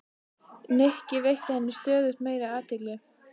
Nikki, veitti henni stöðugt meiri athygli.